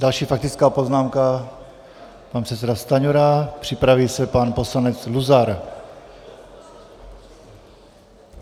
Další faktická poznámka, pan předseda Stanjura, připraví se pan poslanec Luzar.